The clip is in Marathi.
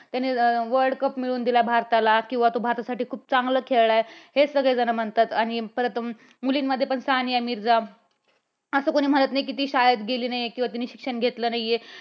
त्याने world cup मिळवून दिलं आहे भारताला किंवा तो भारतासाठी खूप चांगलं खेळलाय हे सगळेजणं म्हणतात. आणि परत मुलींमध्ये पण सानिया मिर्जा असं कुणी म्हणत नाही कि ती शाळेत गेली नाही. किंवा तिने शिक्षण घेतलं नाही आहे.